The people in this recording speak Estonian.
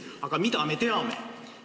Aga mida me teame?